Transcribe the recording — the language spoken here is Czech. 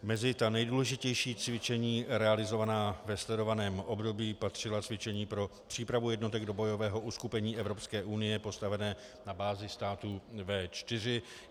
Mezi nejdůležitější cvičení realizovaná ve sledovaném období patřila cvičení pro přípravu jednotek do bojového uskupení Evropské unie postavené na bázi států V4.